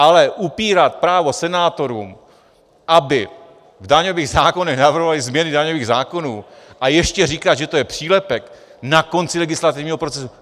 Ale upírat právo senátorům, aby v daňových zákonech navrhovali změny daňových zákonů, a ještě říkat, že to je přílepek na konci legislativního procesu...